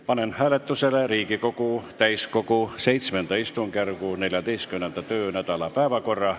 Panen hääletusele Riigikogu täiskogu VII istungjärgu 14. töönädala päevakorra.